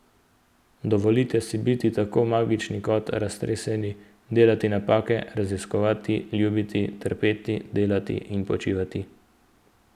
Dovolite si biti tako magični kot raztreseni, delati napake, raziskovati, ljubiti, trpeti, delati in počivati.